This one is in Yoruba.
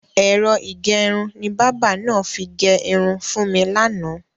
Ẹ̀rọ ìgẹrun ni bábà náà fi gẹ irun fún mi lánàá.